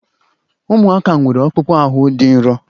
Ụmụaka nwere akpụkpọ ahụ dị nro